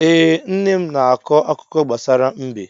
Ee, nne m na-akọ akụkọ gbasara mbe.